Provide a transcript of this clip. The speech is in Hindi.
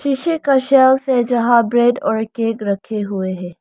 शीशे का शेल्फ है यहां ब्रेड और केक रखे हुए है।